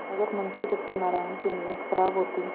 अगर मुंशी सत्यनाराण की नीयत खराब होती